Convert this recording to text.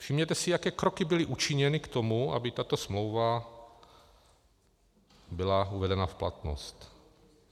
Všimněte si, jaké kroky byly učiněny k tomu, aby tato smlouva byla uvedena v platnost.